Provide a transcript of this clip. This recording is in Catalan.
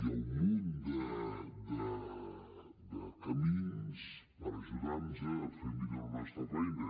hi ha un munt de camins per ajudar nos a fer millor la nostra feina